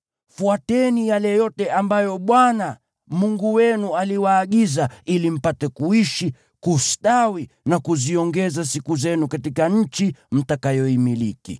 Fuateni yale yote ambayo Bwana Mungu wenu aliwaagiza, ili mpate kuishi, kustawi na kuziongeza siku zenu katika nchi mtakayoimiliki.